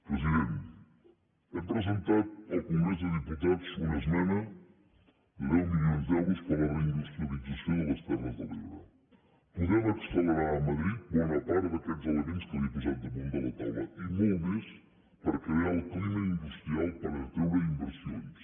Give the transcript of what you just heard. president hem presentat al congrés dels diputats una esmena de deu milions d’euros per a la reindustrialització de les terres de l’ebre podem accelerar a madrid bona part d’aquests elements que li he posat damunt de la taula i molt més per crear el clima industrial per atreure inversions